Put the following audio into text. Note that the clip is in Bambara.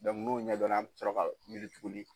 n'o ɲɛdɔnna a' bɔ ka pikili tuguni.